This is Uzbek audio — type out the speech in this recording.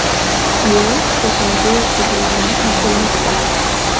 Ayol shifoxonaga yotqizilgani aytilmoqda.